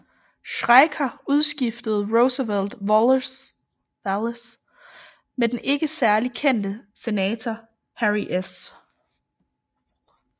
Schricker udskiftede Roosevelt Wallace med den ikke særlig kendte senator Harry S